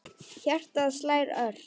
Hjartað slær ört.